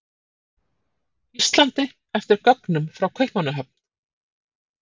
Íslandi eftir gögnum frá Kaupmannahöfn.